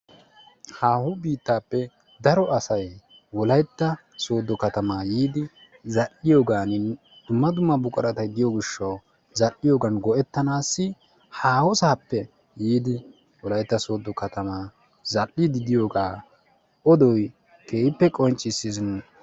Haaho biittaappe daro asay Wolaytta sooddo katamaa yiidi zal"iyogan, dumma dumma buquratay diyo gishawu zal"iyogan go'ettanaassi haahosaappe yiidi Wolaytta sooddo katamaa zal"iiddi diyogaa odoy keehippe qonccissis.